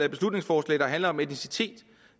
et beslutningsforslag der handler om etnicitet